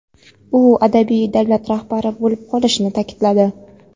u abadiy davlat rahbari bo‘lib qolishini ta’kidladi.